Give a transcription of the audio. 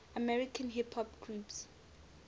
american hip hop groups